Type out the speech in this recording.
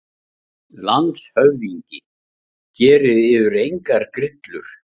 LANDSHÖFÐINGI: Gerið yður engar grillur.